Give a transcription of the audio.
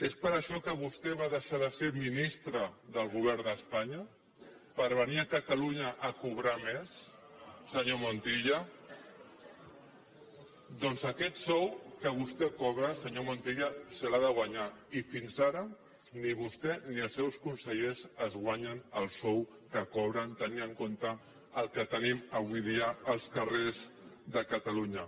és per això que vostè va deixar de ser ministre del govern d’espanya per venir a catalunya a cobrar més senyor montilla doncs aquest sou que vostè cobra senyor montilla se l’ha de guanyar i fins ara ni vostè ni els seus consellers es guanyen el sou que cobren tenint en compte el que tenim avui dia als carrers de catalunya